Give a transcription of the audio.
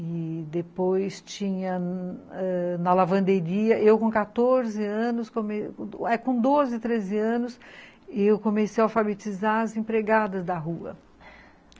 E depois tinha na lavanderia, eu com quatorze anos, com doze, treze anos, eu comecei a alfabetizar as empregadas da rua.